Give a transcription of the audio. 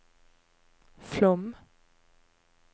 Flåm